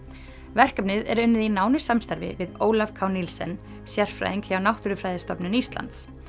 verkefnið er unnið í nánu samstarfi við Ólaf k sérfræðing hjá Náttúrufræðistofnun Íslands